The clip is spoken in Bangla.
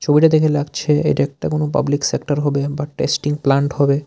ছবিটা দেখে লাগছে এটা একটা কোনো পাবলিক সেক্টার হবে বা টেস্টিং প্লান্ট হবে।